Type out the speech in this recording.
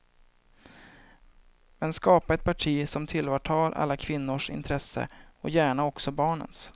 Men skapa ett parti som tillvaratar alla kvinnors intresse och gärna också barnens.